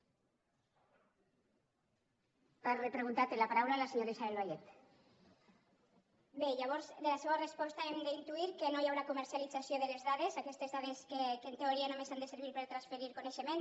bé llavors de la seua resposta hem d’intuir que no hi haurà comercialització de les dades aquestes dades que en teoria només han de servir per transferir coneixements